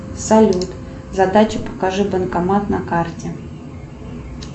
салют задача покажи банкомат на карте